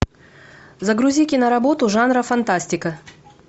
загрузи киноработу жанра фантастика